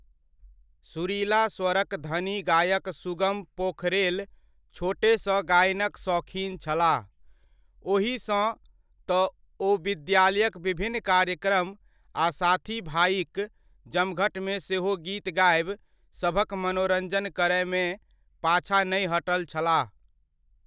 सुरिला स्वरक धनी गायक सुगम पोखरेल छोटेसँ गायनक सौखिन छलाह, ओहीसँ तऽ ओ विद्यालयक विभिन्न कार्यक्रम आ साथीभाइक जमघटमे सेहो गीत गाबि, सभक मनोरञ्जन करयमे पाछा नै हटल छलाह।